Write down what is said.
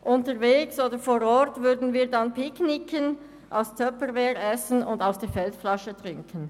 Unterwegs und vor Ort würden wir picknicken, aus Tupperware essen und aus der Feldflasche trinken.